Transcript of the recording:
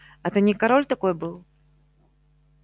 это не король такой был